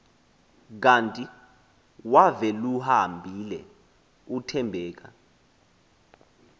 kanti waveluhambile uthembeka